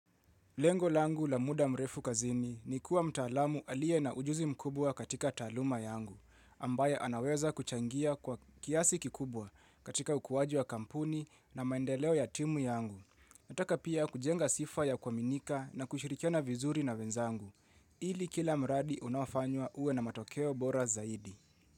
Lengo langu la muda mrefu kazini ni kuwa mtaalamu aliye na ujuzi mkubwa katika taaluma yangu, ambaye anaweza kuchangia kwa kiasi kikubwa katika ukuwaji wa kampuni na maendeleo ya timu yangu. Nataka pia kujenga sifa ya kuaminika na kushirikiana vizuri na wenzangu. Ili kila mradi unaofanywa uwe na matokeo bora zaidi.